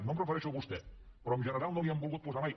no em refereixo a vostè però en general no l’hi han volgut posar mai